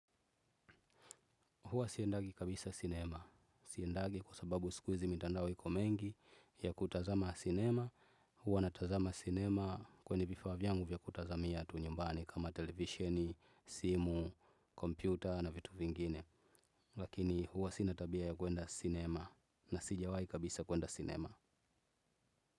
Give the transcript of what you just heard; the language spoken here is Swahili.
Huwa siendagi kabisa sinema. Siendagi kwa sababu siku hizi mitandao iko mengi ya kutazama sinema. Huwa natazama sinema kwenye vifaa vyangu vya kutazamia tu nyumbani kama televisheni, simu, kompyuta na vitu vingine. Lakini huwa sina tabia ya kwenda sinema na sijawahi kabisa kueenda sinema.